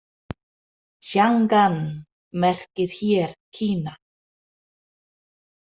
Tsjangan merkir hér Kína.